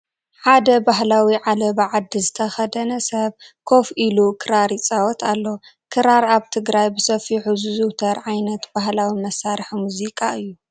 ሓደ ባህላዊ ዓለባ ዓዲ ዝተኸደነ ሰብ ኮፍ ኢሉ ክራር ይፃወት ኣሎ፡፡ ክራር ኣብ ትግራይ ብሰፊሑ ዝዝውተር ዓይነት ባህላዊ መሳርሒ ሙዚቃ እዩ፡፡